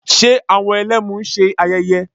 Ṣe àwọn Ẹlẹ́mu ń ṣe ayẹyẹ?